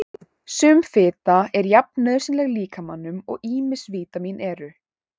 Sum fita er jafn nauðsynleg líkamanum og ýmis vítamín eru.